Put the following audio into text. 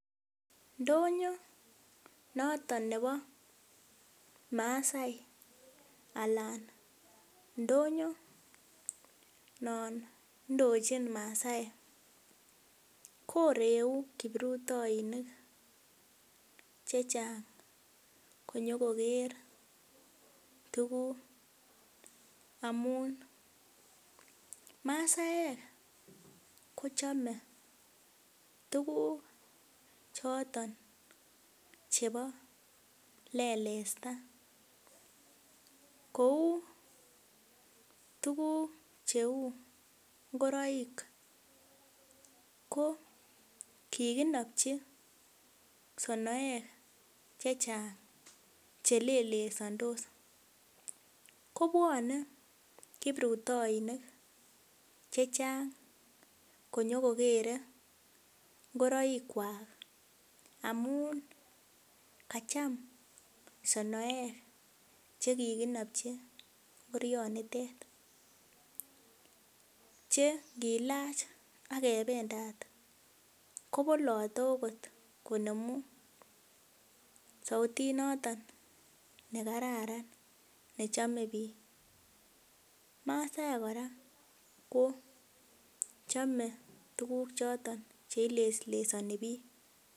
Ndonyon noton nebo maasai ,anan ndonyon noton nendochin maasaek koreu kiprutoinik chechang konyokoker tuguk amun maasaek kochome tuguk choton chebo lelesta kou tuguk chebo ngoroik koo kikinopchi sonoek chechang chelelesandos kobwonee kiprutoinik chechang konyokokere ngoroikwak amun kacham sonoek chekikinopchi ngorionitet ,che ngilach akebendat kobolote akot konemu sautit noton nekararan nechome biik, maasaek kora koo chome tuguk choton cheileslesoni biik.